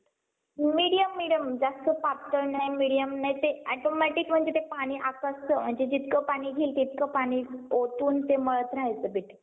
medium medium जास्त पातळ नाही medium नाही ते automatic म्हणजे ते पाणी आकसत मग ते जितकं पाणी घेईल तितकं पाणी ओतून ते मळत रहायचं पीठ.